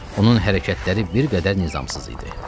Onun hərəkətləri bir qədər nizamsız idi.